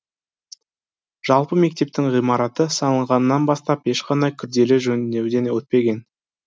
жалпы мектептің ғимараты салынғаннан бастап ешқандай күрделі жөндеуден өтпеген